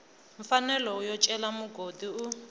mfanelo yo cela mugodi u